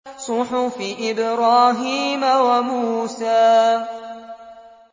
صُحُفِ إِبْرَاهِيمَ وَمُوسَىٰ